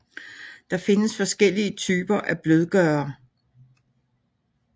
Der findes forskellige typer af blødgørere